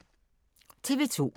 TV 2